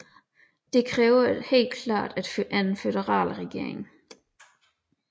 Dette krævede helt klart en føderal regering